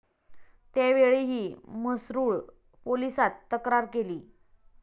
त्यावेळीही म्हसरूळ पोलिसात तक्रार केली.